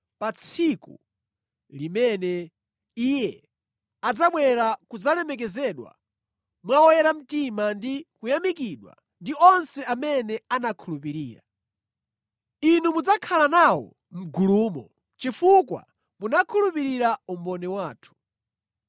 pa tsiku limene iye adzabwera kudzalemekezedwa mwa oyera mtima ndi kuyamikidwa ndi onse amene anakhulupirira. Inu mudzakhala nawo mʼgulumo chifukwa munakhulupirira umboni wathu.